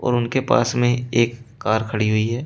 उनके पास में एक कार खड़ी हुई है।